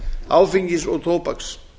áfengis og tóbaks